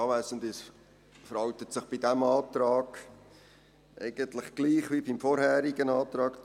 Es verhält sich bei diesem Antrag eigentlich gleich wie beim vorherigen Antrag.